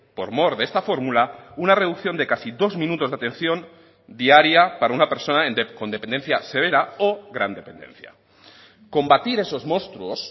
por mor de esta fórmula una reducción de casi dos minutos de atención diaria para una persona con dependencia severa o gran dependencia combatir esos monstruos